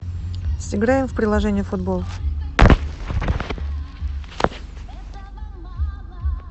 сыграем в приложение футбол